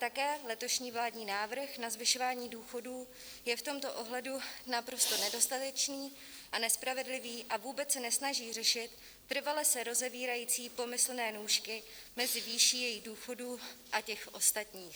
Také letošní vládní návrh na zvyšování důchodů je v tomto ohledu naprosto nedostatečný a nespravedlivý a vůbec se nesnaží řešit trvale se rozevírající pomyslné nůžky mezi výší jejich důchodů a těch ostatních.